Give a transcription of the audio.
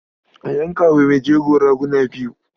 A yanka wa mai jego raguna biyu.